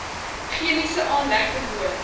chemiese aanlegte woon